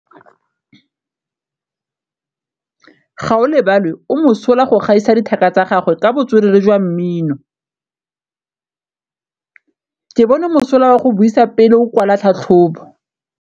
Gaolebalwe o mosola go gaisa dithaka tsa gagwe ka botswerere jwa mmino. Ke bone mosola wa go buisa pele o kwala tlhatlhobô.